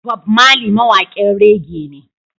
Bob Marley mawaƙin reagea ne